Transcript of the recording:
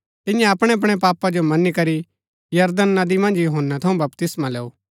तिन्यै अपणैअपणै पापा जो मनी करी यरदन नदी मन्ज यूहन्‍नै थऊँ बपतिस्मा लैऊ